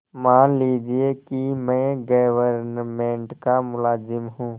मान लीजिए कि मैं गवर्नमेंट का मुलाजिम हूँ